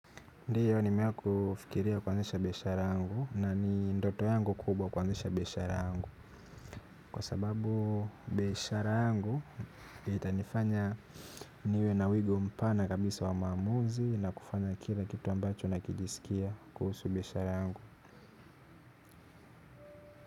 Ndiyo nimewahi kufikiria kuanzisha biashara yangu na ni ndoto yangu kubwa kuanzisha biashara yangu. Kwa sababu biashara yangu itanifanya niwe na wigo mpana kabisa wa maamuzi na kufanya kila kitu ambacho nakijisikia kuhusu biashara yangu.